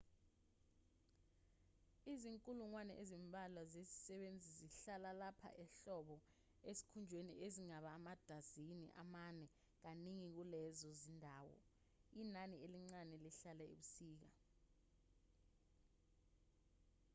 izinkulungwane ezimbalwa zezisebenzi zihlala lapha ehlobo ezikhungweni ezingaba amadazini amane kaningi kulezo zindawo inani elincane lihlala ebusika